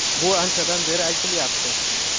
Bu anchadan beri aytilyapti.